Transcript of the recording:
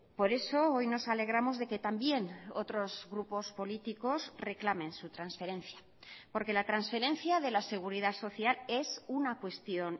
por eso hoy nos alegramos de que también otros grupos políticos reclamen su transferencia porque la transferencia de la seguridad social es una cuestión